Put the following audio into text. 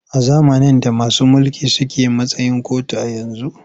A zamanin da masu mulki su suke a matsayin kotu a yanzu.